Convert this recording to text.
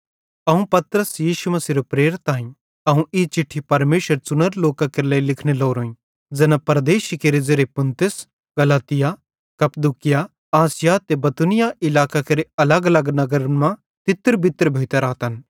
अवं पतरस यीशु मसीहेरो प्रेरित आईं अवं ई चिट्ठी परमेशरेरे च़ुनोरे लोकां केरे लेइ लिखने लोरोईं ज़ैना परदेशी केरे ज़ेरे पुन्तुस गलातिया कप्पदूकिया आसिया ते बितूनिया इलाकां केरे अलगअलग नगरन मां तितरबितर भोइतां रातन